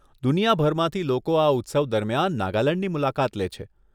દુનિયાભરમાંથી લોકો આ ઉત્સવ દરમિયાન નાગાલેંડની મુલાકાત લે છે.